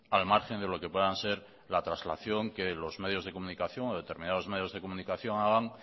al margen de lo que puedan ser la traslación que los medios de comunicación o determinados medios de comunicación hagan